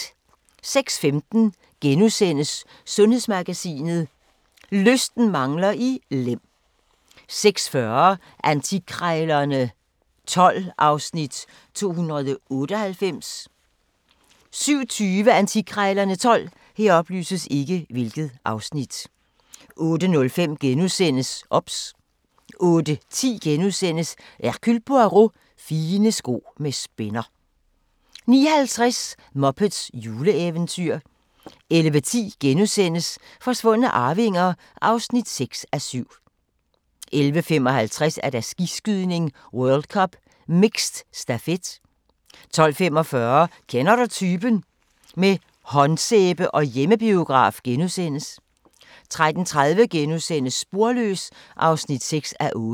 06:15: Sundhedsmagasinet: Lysten mangler i Lem * 06:40: Antikkrejlerne XII (Afs. 298) 07:20: Antikkrejlerne XII 08:05: OBS * 08:10: Hercule Poirot: Fine sko med spænder * 09:50: Muppets juleeventyr 11:10: Forsvundne arvinger (6:7)* 11:55: Skiskydning: World Cup - mixed stafet 12:45: Kender du typen? – med håndsæbe og hjemmebiograf * 13:30: Sporløs (6:8)*